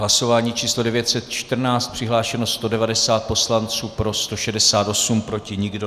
Hlasování číslo 914, přihlášeno 190 poslanců, pro 168, proti nikdo.